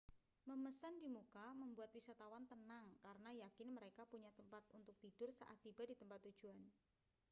memesan di muka membuat wisatawan tenang karena yakin mereka punya tempat untuk tidur saat tiba di tempat tujuan